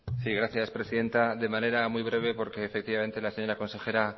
sí gracias presidenta de manera muy breve porque efectivamente la señora consejera